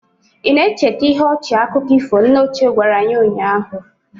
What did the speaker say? Ị na-echeta ihe ọchị akụkọ ifo nne ochie gwara anyị ụnyahụ?